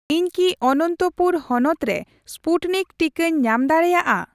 ᱤᱧ ᱠᱤ ᱚᱱᱚᱱᱛᱚᱯᱩᱨ ᱦᱚᱱᱚᱛ ᱨᱮ ᱥᱯᱩᱴᱱᱤᱠ ᱴᱤᱠᱟᱹᱧ ᱧᱟᱢ ᱫᱟᱲᱤᱭᱟᱜᱼᱟ ᱾